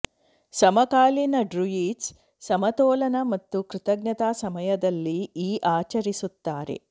ಸಮಕಾಲೀನ ಡ್ರುಯಿಡ್ಸ್ ಸಮತೋಲನ ಮತ್ತು ಕೃತಜ್ಞತಾ ಸಮಯದಲ್ಲಿ ಈ ಆಚರಿಸುತ್ತಾರೆ